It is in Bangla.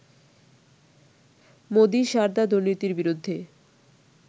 মোদি সারদা দুর্নীতির বিরুদ্ধে